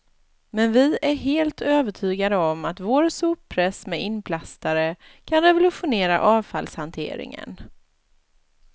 Men vi är helt övertygade om att vår soppress med inplastare, kan revolutionera avfallshanteringen.